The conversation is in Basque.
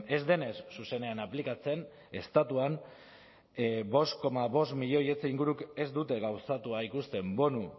ez denez zuzenean aplikatzen estatuan bost koma bost milioi etxe inguruk ez dute gauzatua ikusten bonu